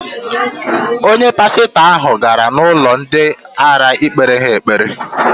Onye pasitọ ahụ gara n'ụlọ ndị ara ikpere ha ekpere.